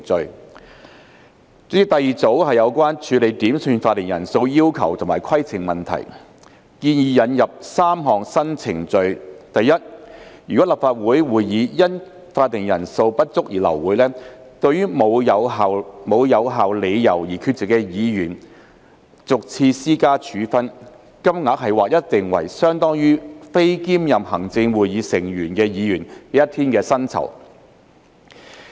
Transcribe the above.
代理主席，第二組是有關處理點算法定人數要求及規程問題，建議引入3項新程序：第一，如果立法會會議因法定人數不足而流會，對無有效理由而缺席的議員逐次施加處分，金額劃一定為相當於非兼任行政會議成員的議員一天的酬金。